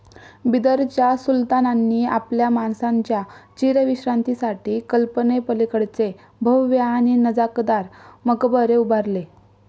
बिदरच्या सुलतानांनी आपल्या माणसांच्या चीरविश्रांतीसाठी कल्पनेपलीकडचे भव्य आणि नजाकतदार मकबरे उभारले.